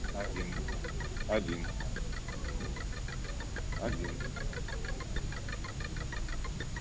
один один один